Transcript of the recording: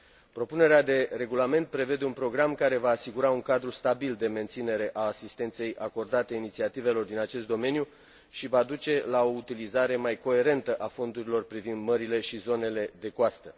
Propunerea de regulament prevede un program care va asigura un cadru stabil de menținere a asistenței acordate inițiativelor din acest domeniu și va duce la o utilizare mai coerentă a fondurilor privind mările și zonele de coastă.